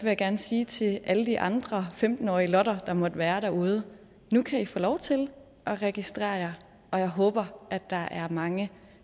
jeg gerne sige til alle de andre femten årige lotter der måtte være derude nu kan i få lov til at registrere jer og jeg håber at der er mange